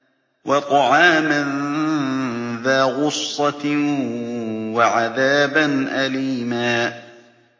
وَطَعَامًا ذَا غُصَّةٍ وَعَذَابًا أَلِيمًا